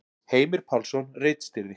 Heimir Pálsson ritstýrði.